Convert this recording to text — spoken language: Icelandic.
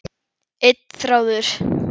Einn þráður.